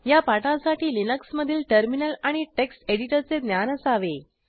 या पाठासाठी लिनक्स मधील टर्मिनल आणि टेक्स्ट एडिटरचे ज्ञान असावे